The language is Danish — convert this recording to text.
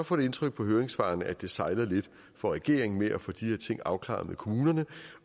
få det indtryk på høringssvarene at det sejler lidt for regeringen med at få de her ting afklaret med kommunerne